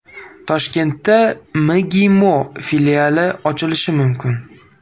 Toshkentda MGIMO filiali ochilishi mumkin.